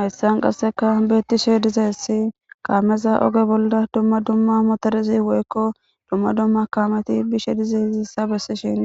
hayssan qasseka beettishe diza hessi kaameza oge bolda dumma dumma motorizi woykko dumma dumma kaameti bishe diza hizissa bessi shin